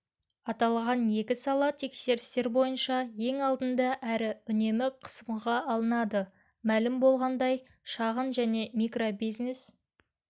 аталған екі сала тексерістер бойынша ең алдында әрі үнемі қысымға алынады мәлім болғандай шағын және микробизнес